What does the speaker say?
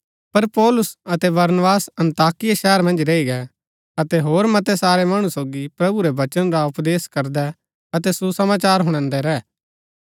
पर पौलुस अतै बरनबास अन्ताकिया शहर मन्ज रैई गै अतै होर मतै सारै मणु सोगी प्रभु रै वचन रा उपदेश करदै अतै सुसमाचार हुणादै रैह